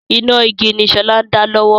Iná igi ni sọlá ń dá lọ́wọ́